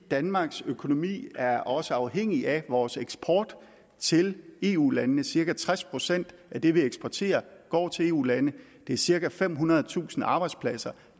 danmarks økonomi er også afhængig af vores eksport til eu landene cirka tres procent af det vi eksporterer går til eu lande det er cirka femhundredetusind arbejdspladser